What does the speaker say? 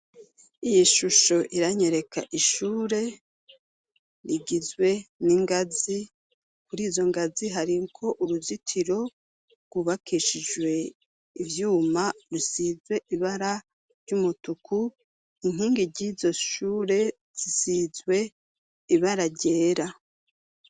Iyi shusho iranyereka ishure rigizwe n'ingazi kuri izo ngazi hari ko uruzitiro rwubakishijwe ivyuma risizwe ibara ry'umutuku inkingi ry'izo shure zisizwe ibara ryera.